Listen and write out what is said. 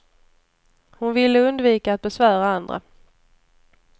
Hon ville undvika att besvära andra.